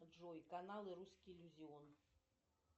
джой канал русский иллюзион